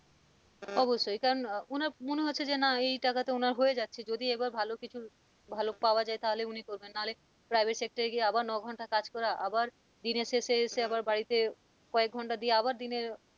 অবশ্যই কারণ ওনার মনে হচ্ছে যে না এই টাকাতে ওনার হয়ে যাচ্ছে যদি এবার ভালো কিছু ভালো পাওয়া যায় তাহলে উনি করবেন না হলে private sector এ গিয়ে আবার ন-ঘন্টা কাজ করা আবার দিনের শেষে এসে আবার বাড়িতে কয়েক ঘন্টা দিয়ে আবার দিনে।